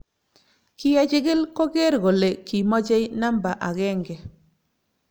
kiyechikil koger kole kimochei namba akenge